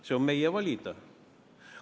See on meie valida.